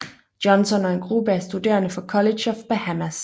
Johnson og en gruppe af studerende fra College of Bahamas